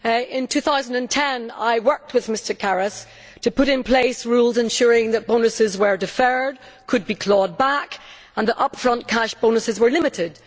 In 2010 I worked with Mr Karas to put in place rules to ensure that bonuses were deferred and could be clawed back and that up front cash bonuses were limited.